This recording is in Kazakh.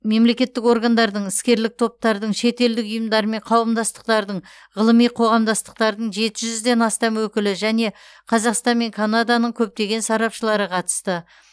мемлекеттік органдардың іскерлік топтардың шетелдік ұйымдар мен қауымдастықтардың ғылыми қоғамдастықтардың жеті жүзден астам өкілі және қазақстан мен канаданың көптеген сарапшылары қатысты